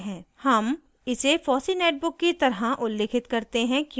हम इसे fossee netbook की तरह उल्लिखित करते हैं क्योंकि